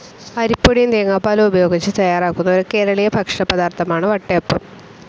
അരിപൊടിയും തേങ്ങാപ്പാലും ഉപയോഗിച്ച് തയ്യാറാക്കുന്ന, ഒരു കേരളീയ ഭക്ഷണപദാർത്ഥമാണ് വട്ടയപ്പം.